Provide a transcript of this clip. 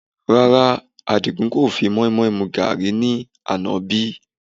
Rárá, Àdìgún kò fi moimoi mu gàárì ní àná bí